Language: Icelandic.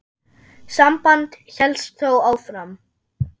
Samband hélst þó áfram.